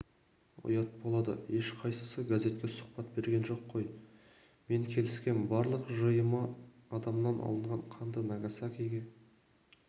ұят болады ешқайсысы газетке сұхбат берген жоқ қой мен келіскем барлық жиыны адамнан алынған қанды нагасакиге